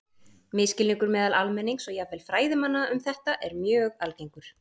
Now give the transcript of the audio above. Misskilningur meðal almennings og jafnvel fræðimanna um þetta er mjög algengur.